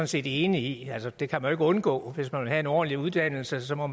set enig i altså det kan man jo ikke undgå hvis man vil have en ordentlig uddannelse så må